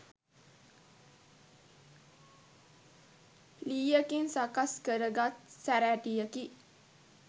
ලීයකින් සකස් කරගත් සැරයටියකි.